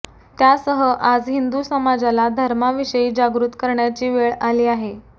त्यासह आज हिंदु समाजाला धर्माविषयी जागृत करण्याची वेळ आली आहे